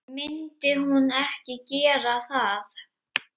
Myndi hún ekki gera það?